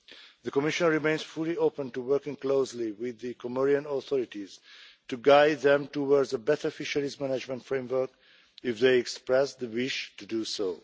The Commission remains fully open to working closely with the Comorian authorities to guide them towards a better fisheries management framework, if they express the wish to do so.